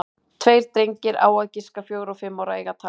Tveir drengir, á að giska fjögra og fimm ára, eiga tal saman.